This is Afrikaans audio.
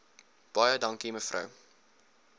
baie dankie mevrou